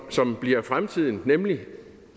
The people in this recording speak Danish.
som bliver fremtiden nemlig